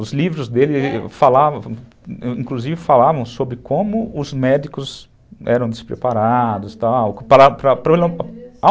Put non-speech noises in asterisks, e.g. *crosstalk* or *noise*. Os livros dele falavam, inclusive falavam sobre como os médicos eram despreparados, tal, *unintelligible*